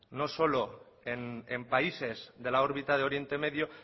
no solo en países de la órbita del oriente medio